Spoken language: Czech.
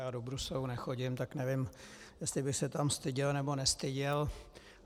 Já do Bruselu nechodím, tak nevím, jestli bych se tam styděl, nebo nestyděl.